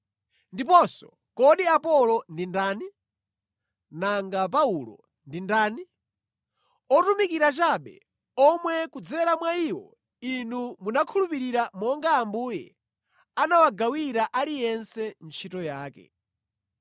Ndiponso kodi Apolo ndi ndani? Nanga Paulo ndi ndani? Otumikira chabe, omwe kudzera mwa iwo inu munakhulupirira monga Ambuye anawagawira aliyense ntchito yake.